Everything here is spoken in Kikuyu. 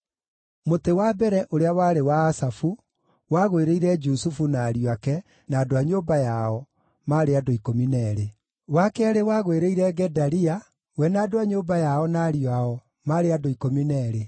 Mũtĩ wa mbere, ũrĩa warĩ wa Asafu, wagwĩrĩire Jusufu, na ariũ ake, na andũ a nyũmba yao, maarĩ andũ 12; wa keerĩ wagwĩrĩire Gedalia, we na andũ a nyũmba yao, na ariũ ao, maarĩ andũ 12;